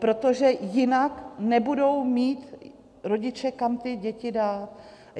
Protože jinak nebudou mít rodiče kam ty děti dát.